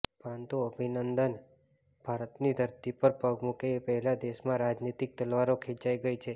પરંતુ અભિનંદન ભારતની ધરતી પર પગ મૂકે એ પહેલાં દેશમાં રાજનીતિક તલવારો ખેંચાઈ ગઈ છે